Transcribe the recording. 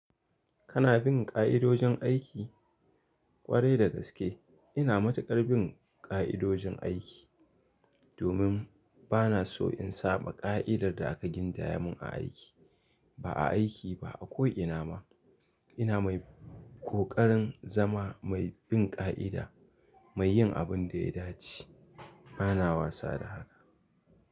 Kana bin ƙa'idojin aiki? Kwarai da gaske ina matuƙar bin ƙa'idojin aiki, domin bana so in saba ƙa'idar da aka gindaya mun a aiki. Ba a aiki ba ako ina ma. Ina mai ƙoƙarin zama mai bin ƙa'ida, mai yin abin da ya dace. Bana wasa da haka.